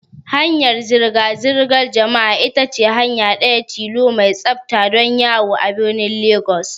Hanyar zirga zirgar jama'a ita ce hanya ɗaya tilo mai tsafta don yawo a birnin Legas.